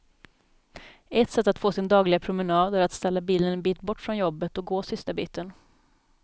Ett sätt att få sin dagliga promenad är att ställa bilen en bit bort från jobbet och gå sista biten.